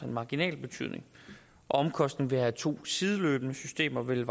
marginal betydning omkostningen ved at have to sideløbende systemer vil